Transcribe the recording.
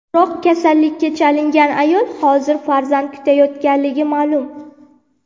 Biroq kasallikka chalingan ayol hozir farzand kutayotganligi ma’lum.